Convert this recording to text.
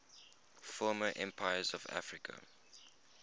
former empires of africa